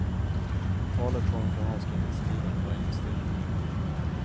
Talet kommer från avskrivningstiden för investeringen.